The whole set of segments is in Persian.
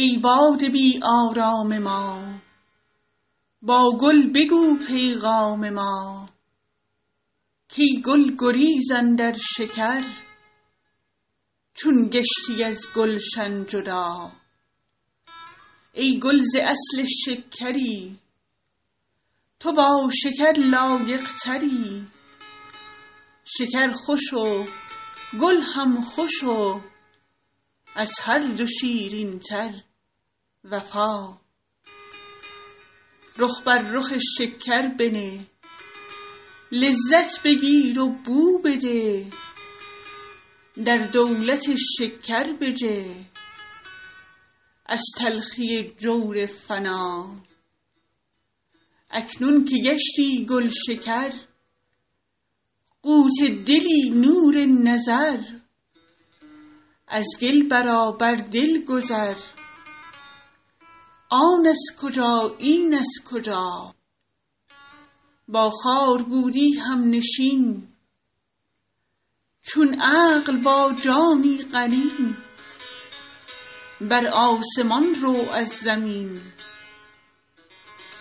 ای باد بی آرام ما با گل بگو پیغام ما کای گل گریز اندر شکر چون گشتی از گلشن جدا ای گل ز اصل شکری تو با شکر لایق تری شکر خوش و گل هم خوش و از هر دو شیرین تر وفا رخ بر رخ شکر بنه لذت بگیر و بو بده در دولت شکر بجه از تلخی جور فنا اکنون که گشتی گلشکر قوت دلی نور نظر از گل برآ بر دل گذر آن از کجا این از کجا با خار بودی همنشین چون عقل با جانی قرین بر آسمان رو از زمین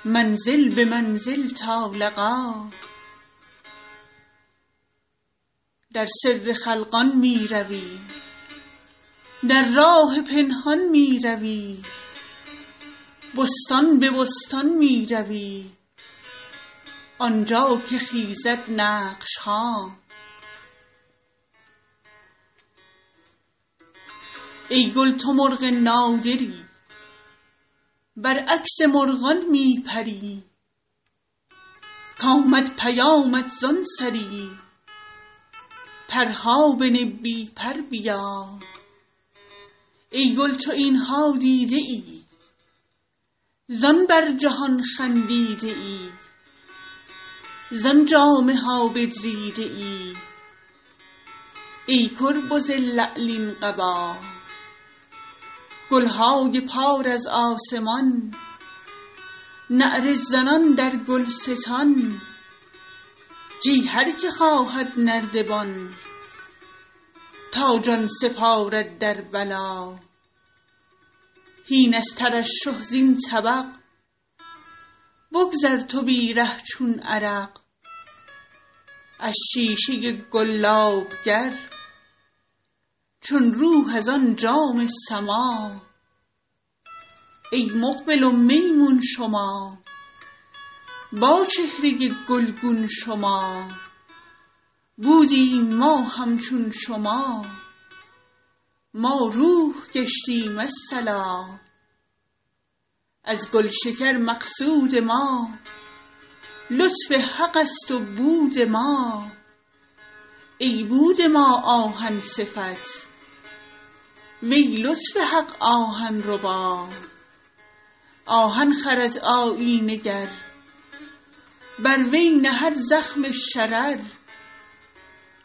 منزل به منزل تا لقا در سر خلقان می روی در راه پنهان می روی بستان به بستان می روی آن جا که خیزد نقش ها ای گل تو مرغ نادری برعکس مرغان می پری کامد پیامت زان سری پرها بنه بی پر بیا ای گل تو این ها دیده ای زان بر جهان خندیده ای زان جامه ها بدریده ای ای کربز لعلین قبا گل های پار از آسمان نعره زنان در گلستان کای هر که خواهد نردبان تا جان سپارد در بلا هین از ترشح زین طبق بگذر تو بی ره چون عرق از شیشه گلاب گر چون روح از آن جام سما ای مقبل و میمون شما با چهره گلگون شما بودیم ما همچون شما ما روح گشتیم الصلا از گلشکر مقصود ما لطف حق ست و بود ما ای بود ما آهن صفت وی لطف حق آهن ربا آهن خرد آیینه گر بر وی نهد زخم شرر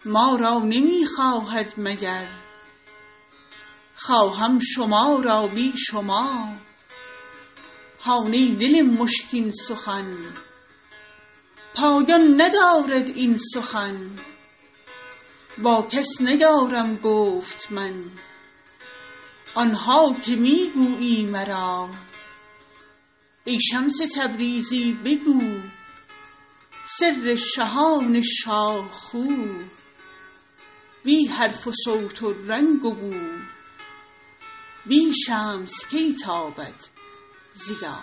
ما را نمی خواهد مگر خواهم شما را بی شما هان ای دل مشکین سخن پایان ندارد این سخن با کس نیارم گفت من آن ها که می گویی مرا ای شمس تبریزی بگو سر شهان شاه خو بی حرف و صوت و رنگ و بو بی شمس کی تابد ضیا